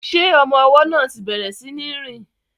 Ṣé ọmọ ọwọ́ náà ti bẹ̀rẹ̀ sí ní rìn?